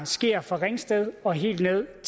sker fra ringsted og helt